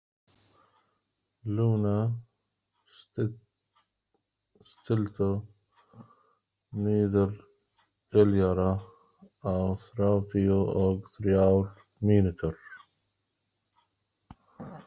Luna, stilltu niðurteljara á þrjátíu og þrjár mínútur.